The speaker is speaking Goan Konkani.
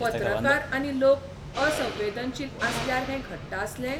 पत्रकार आनी लोक असंवेदनशील आसल्यार हैं घडटा आसलें?